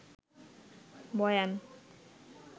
বয়ান